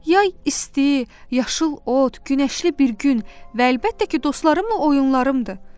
Yay isti, yaşıl ot, günəşli bir gün və əlbəttə ki, dostlarımla oyunlarımdır.